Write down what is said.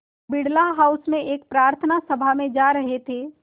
Birla house में एक प्रार्थना सभा में जा रहे थे